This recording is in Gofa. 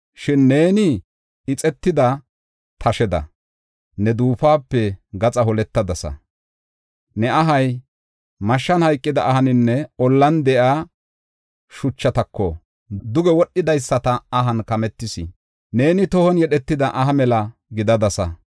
Shin neeni ixetida tasheda ne duufuwape gaxa holettadasa. Ne ahay mashshan hayqida ahaninne ollan de7iya shuchatako duge wodhidaysata ahan kametis. Neeni tohon yedhetida aha mela gidadasa.